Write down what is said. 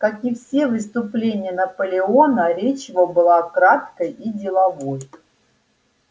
как и все выступления наполеона речь его была краткой и деловой